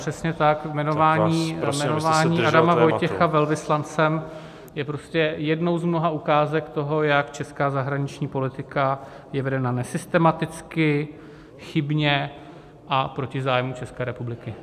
Přesně tak, jmenování Adama Vojtěcha velvyslancem je prostě jednou z mnoha ukázek toho, jak česká zahraniční politika je vedena nesystematicky, chybně a proti zájmům České republiky.